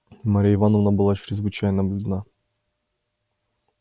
марья ивановна была чрезвычайно бледна